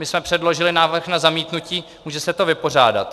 My jsme předložili návrh na zamítnutí, může se to vypořádat.